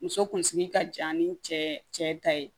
Muso kunsigi ka jan ni cɛ ta ye